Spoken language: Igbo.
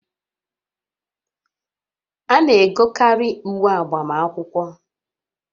A na-egokarị uwe agbamakwụkwọ